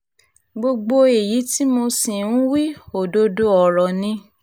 gbogbo èyí tí mo sì ń wí òdodo ọ̀rọ̀ ni